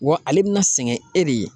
Wa ale bɛna sɛgɛn e de ye.